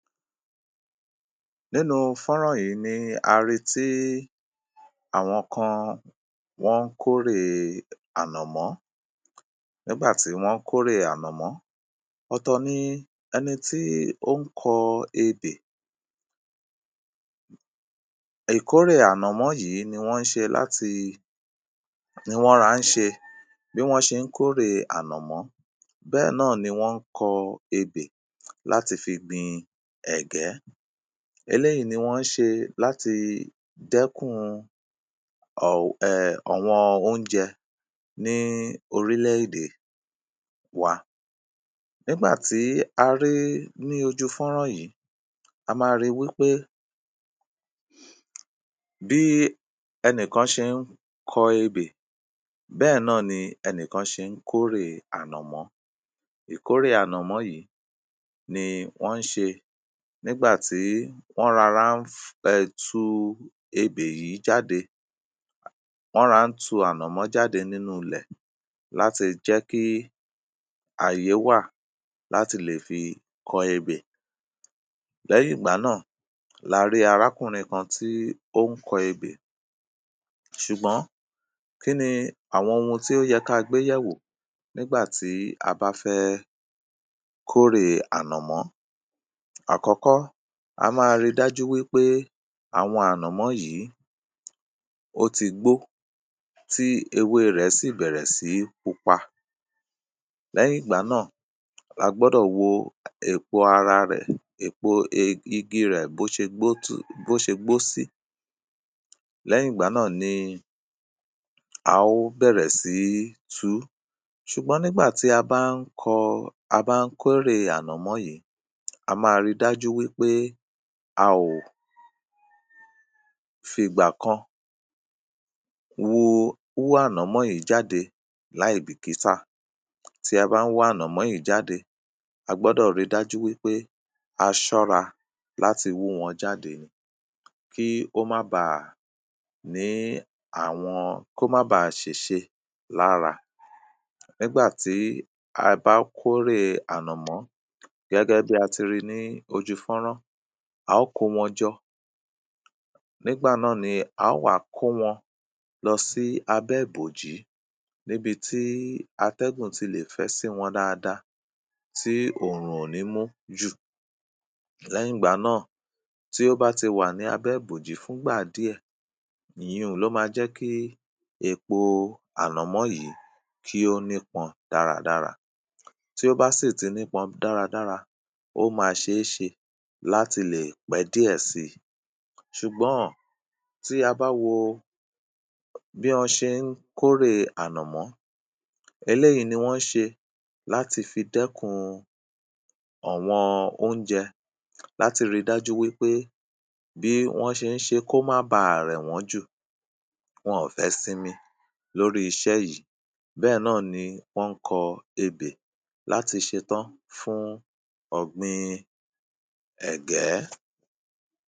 Nínú fọ́nrán yìí ni a ri tí àwọn kan wọ́n kórè ànọ̀mọ́. Nígbà tí wọ́n kórè ànọ̀mọ́, ọ̀tọ̀ ni ẹni tí ó ń kọ ebè. Ìkórè ànọ̀mọ́ yìí ni wọ́n ṣe láti, ni wọ́n ran ṣe bi wọ́n ṣé ń kórè ànọ̀mọ́ bẹ́ẹ̀ náà ni wọ́n kọ ebè láti fi gbin ẹ̀gẹ́. Eléyìí ni wọ́n ṣe láti dẹ́kun um ọ̀wọ́n oúnjẹ ni orílẹ̀-èdè wa. Nígbà tí a rí ní ojú fọ́nrán yìí, a ma ri wí pé bí ẹnìkan ṣé ń kọ ebè bẹ́ẹ̀ náà ni ẹnìkan ṣe ń kórè ànọ̀mọ́. Ìkórè ànọ̀mọ́ yìí ni wọ́n ṣe nígbà tí wọ́n rọra um tu ebè yìí jáde. Wọn ra n tu ànọ̀mọ́ jáde nínú ilẹ̀ láti jẹ́ kí àyè wà láti lè fi kọ ebè. Lẹ́yìn ìgbà náà la rí arákùnrin kan tí ó ń kọ ebè ṣùgbọ́n kí ni àwọn ohun tí ó yẹ kagbéyẹ̀wò nígbà tí a bá fẹ́ kórè ànọ̀mọ́. Àkọ́kọ́ a máa ri dájú wí pé àwọn ànọ̀mọ́ yìí ó ti gbó tí ewé rẹ̀ sì bẹ̀rẹ̀ sí pupa. Lẹ́yìn ìgbà náà lagbọ́dọ̀ wo èpo ara rẹ̀. Èpo igi rẹ̀ bó ṣe bó ṣe gbó bó ṣe gbó sí. Lẹ́yìn ìgbà náà ni a ó bẹ̀rẹ̀ sí tuú. Ṣùgbọ́n nígbà tí a bá ń kọ, a bá ń kó èrè ànọ̀mọ́ yìí, a máa ri dájú wí pé a ò fi ìgbà kan wu wú ànọ̀mọ́ yìí jáde láì bìkítà tí a bá ń wá ànọ̀mọ́ yìí jáde. A gbọ́dọ̀ ri dájú wí pé a ṣọ́ra láti wú wọn jáde ni kí ó mába ní àwọn, kó má báa ṣèṣe lára. Nígbà tí a bá kórè ànọ̀mọ́ gẹ́gẹ́bí a ti ri ní ojú fọ́nrán, a ó kó wọn jọ nígbà náà ni a ó wa kówọn lọ sí abẹ́ ìbòjí níbi tí atẹ́gùn tilè fẹ́ sí wọn dáadáa tí òrùn ò ní mú jù. Lẹ́yìn ìgbà náà, tí ó bá ti wà ní abẹ́ ìbòjí fún ìgbà díẹ̀, ìyiùn ló ma jẹ́kí èpo ànọ̀mọ́ yìí kí ó ní pọn dáradára. Tí ó bá sì ti nípọn dáradára, ó ma ṣeéṣe láti lè pẹ́ díẹ̀ si. Ṣùgbọ́n tí a bá wo bí ọ́n ṣe ń kórè ànọ̀mọ́, eléyìí ni wọ́n ń ṣe láti fi dẹ́kun ọ̀wọn oúnjẹ láti ri dájú wí pé bí wọ́n ṣé ń ṣe kó má báa rẹ̀ wọ́n jù. Wọn fẹ́ sinmi lórí iṣẹ́ yìí. Bẹ́ẹ̀ náà ni wọ́n ń kọ ebè láti ṣetán fún ọ̀gbin ẹ̀gẹ́.